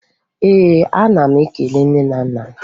Ee, ana m ekele nne na nna m.